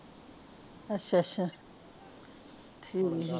ਅੱਛਾ ਅੱਛਾ ਠੀਕ ਆ